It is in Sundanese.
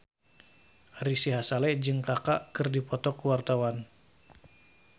Ari Sihasale jeung Kaka keur dipoto ku wartawan